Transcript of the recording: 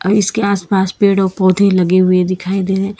इसके आसपास पेड़ और पौधे लगे हुए दिखाई दे रहे--